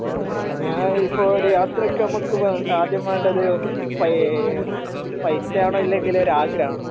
മ്മ് ഞാൻ ഇപ്പൊ ഒരു യാത്രോക്കെ നമക്ക് ആദ്യം വേണ്ടത് ഒന്ന് പൈ പൈസ ആണോ ഇല്ലെങ്കിൽ ഒരു ആഗ്രഹം ആണോ